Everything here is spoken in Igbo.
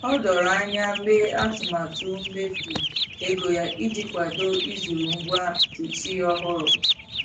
O doro anya mee atụmatụ mmefu ego ya iji kwado ịzụrụ ngwa kichin ọhụrụ.